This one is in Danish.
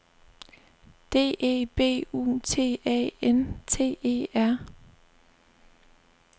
D E B U T A N T E R